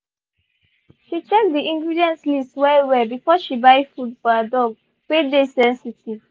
she check the ingredient list well well before she buy food for her dog wey dey sensitive.